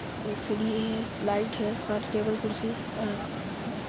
एक सीडी है लाइट है हर टेबल कुर्सी और हैं।